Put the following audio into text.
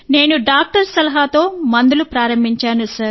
నేను డాక్టర్ సలహాతో మందులు ప్రారంభించాను